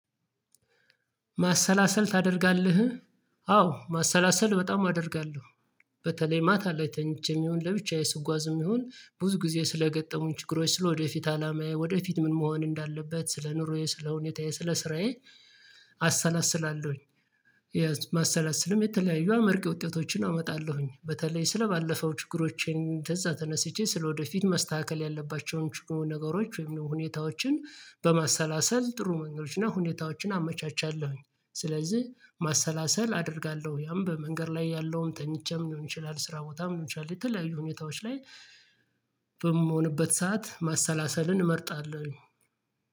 ማሰላሰል ታደርጋለህ? አዎ ማሰላሰል በጣም አደርጋለሁ በተለይ ማታ ላይ ተኝቼም ይሁን ለብቻዬ ስጓዝም ይሁን ብዙ ጊዜ ስለገጠሙኝ ችግሮች ስለወደፊት አላማዬ ወደፊት ምን መሆን እንዳለበት ስለ ኑሮዬ ስለ ሁኔታዬ ስለ ስራዬ አሰላስላለሁኝ የማሰላሰልም የተለያዩ አመርቂ ውጤቶችን አመጣለሁኝ በተለይ ስለባለፈው ችግሮቼን ተዛ ተነስቼ ስለወደፊት መስተካከል ያለባቸውን ነገሮች ወይም ደግሞ ሁኔታዎችን በማሰላሰል ጥሩ መንገዶች እና ሁኔታዎችን አመቻቻለሁኝ ስለዚህ ማሰላሰል አደርጋለሁ ያም በመንገድ ላይ ያለውን ተኝቼም ሊሆን ይችላል ስራ ቦታም ሊሆን ቻልክ የተለያዩ ሁኔታዎች ላይ በምሆንበት ሰዓት ማሰላሰልን እመርጣለሁኝ